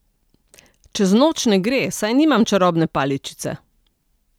A čez noč ne gre, saj nimam čarobne paličice.